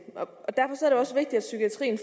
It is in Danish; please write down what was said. psykiatrien